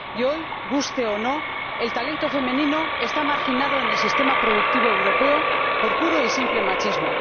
Hoy, guste o no, el talento femenino está marginado en el sistema productivo europeo por puro y simple machismo.